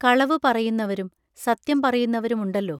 കളവു പറയുന്നവരും സത്യം പറയുന്നവരു മുണ്ടല്ലോ.